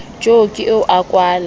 jo ke eo a kwala